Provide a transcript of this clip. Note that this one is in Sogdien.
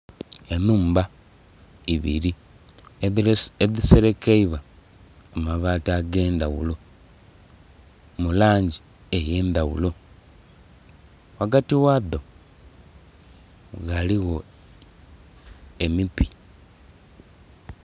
Enhumba ibiri edhiserekeibwa amabati ag'endhaghulo mu langi eyendhaghulo, ghagati ghadho ghaligho emiti.